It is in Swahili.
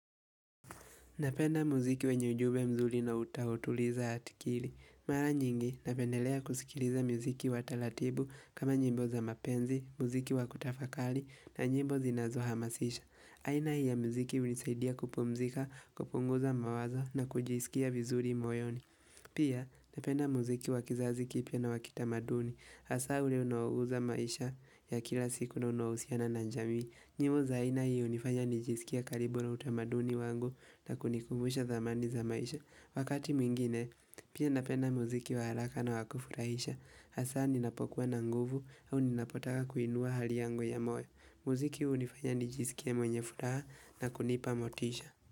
Napenda muziki wenye ujumbe mzuri na utawotuliza atikili. Mara nyingi napendelea kusikiliza muziki wa talatibu kama nyimbo za mapenzi, muziki wa kutafakali na nyimbo zinazohamasisha. Aina hii ya muziki hunisaidia kupumzika, kupunguza mawazo na kujisikia vizuri moyoni. Pia napenda muziki wa kizazi kipya na wa kitamaduni. Hasa ule unaoguza maisha ya kila siku na unahusiana na njami. Nyimbo za aina hii hunifanya nijisikie karibu na utamaduni wangu na kunikumbusha thamani za maisha. Wakati mwingine, pia napenda muziki wa haraka na wa kufurahisha. Hasa ninapokuwa na nguvu au ninapotaka kuinua hali yangu ya moyo. Muziki hunifanya nijisikie mwenye furaha na kunipa motisha.